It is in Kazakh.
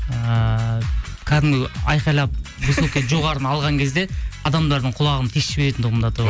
ыыы кәдімгі айқайлап высокий жоғарыны алған кезде адамдардың құлағын тесіп жіберетін тұғынмын до того